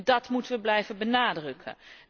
Dat moeten we blijven benadrukken.